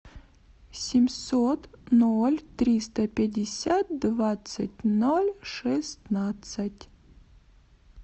семьсот ноль триста пятьдесят двадцать ноль шестнадцать